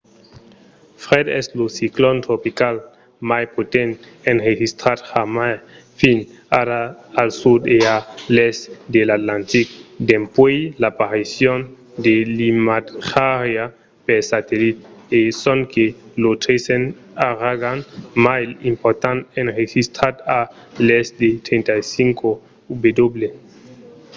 fred es lo ciclon tropical mai potent enregistrat jamai fins ara al sud e a l'èst de l'atlantic dempuèi l'aparicion de l’imatjariá per satellit e sonque lo tresen auragan mai important enregistrat a l'èst de 35°w